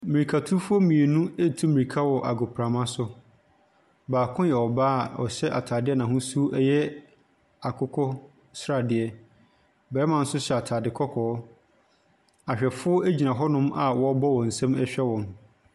Mmirika fo mmienu etu mmiraka wɔ agopramaso. Baako yɛ ɔbaa a ɔhyɛ ataade a n'ahosuo no yɛ akokɔsradeɛ. Barima no so hyɛ ataade kɔkɔɔ. Ahwɛfoɔ egyina hɔnom a wɔbɔ wɔn nsam ɛhwɛ wɔn.